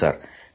ಹೌದು ಸರ್